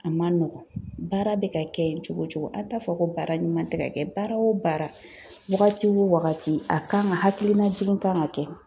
A ma nɔgɔn, baara bɛ ka kɛ cogo o cogo, an t'a fɔ ko baara ɲuman tɛ ka kɛ, baara o baara wagati wo wagati a kan ka hakilina jigin kan ka kɛ.